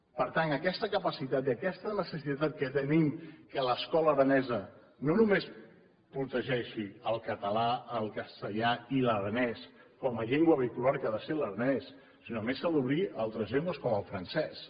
per tant aquesta capacitat i aquesta necessitat que tenim que l’escola aranesa no només protegeixi el català el castellà i l’aranès com a llengua vehicular que ha de ser l’aranès sinó que a més s’ha d’obrir a altres llengües com el francès